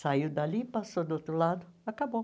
Saiu dali, passou do outro lado, acabou.